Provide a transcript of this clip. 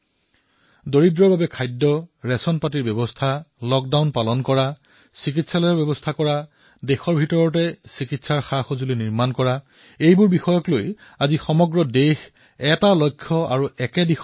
দুখীয়াৰ বাবে অন্নৰ পৰা আৰম্ভ কৰি খাদ্যসামগ্ৰীৰ ব্যৱস্থা লকডাউনৰ পালন চিকিৎসালয়ৰ ব্যৱস্থা চিকিৎসা সামগ্ৰী দেশতেই নিৰ্মাণ হোৱা আজি সমগ্ৰ দেশে এটা লক্ষ্য এটা দিশলৈ ধাৱমান হৈছে